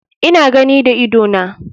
Ina gani da idona.